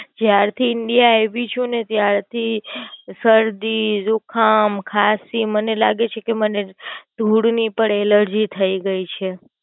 જ્યારથી India આવી ચુ ને ત્યારથી શરદી, જુખામ, ખાંસી મને લાગે છે કે મને ધૂળ ની પણ Allergy થઇ ગઈ છે.